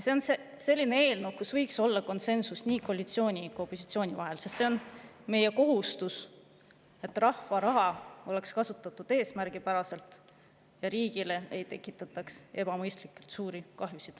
See on selline eelnõu, mille puhul võiks olla konsensus koalitsiooni ja opositsiooni vahel, sest meie kohustus, et rahva raha oleks kasutatud eesmärgipäraselt ja et riigile ei tekitataks ebamõistlikult suurt kahju.